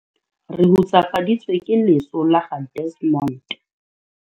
Re hutsafaditswe ke leso la ga Desmond.